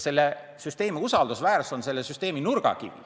Selle süsteemi usaldusväärsus on aga selle süsteemi nurgakivi.